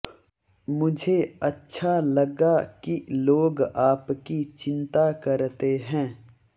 मुझे अच्छा लगा कि लोग आपकी चिंता करते हैं